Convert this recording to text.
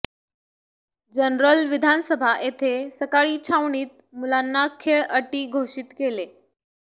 general विधानसभा येथे सकाळी छावणीत मुलांना खेळ अटी घोषित केले